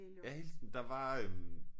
Ja helt der var øh